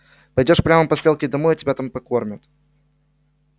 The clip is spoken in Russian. пойдёшь прямо по стрелке домой и тебя там покормят